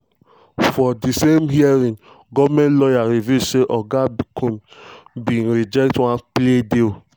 for di same hearing goemnt lawyers reveal say oga combs had bin reject one plea deal.